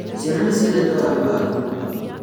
Ciana nĩciendete waru waku